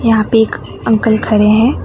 यहां पे एक अंकल खड़े हैं।